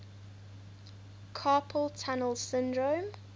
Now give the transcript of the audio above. carpal tunnel syndrome